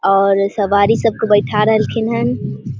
और सवारी सब के बइठा रहल खिनन हन ।